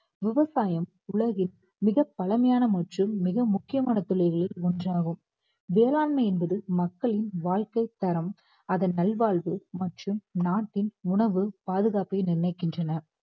விவசாயம் உலகில் மிக பழமையான மற்றும் மிக முக்கியமான தொழில்களில் ஒன்றாகும். வேளாண்மை என்பது மக்களின் வாழ்க்கைத் தரம் அதன் நல்வாழ்வு மற்றும் நாட்டின் உணவு பாதுகாப்பை நிர்ணயிக்கின்றன